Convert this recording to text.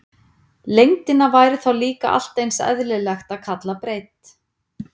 Lengdina væri þá líka allt eins eðlilegt að kalla breidd.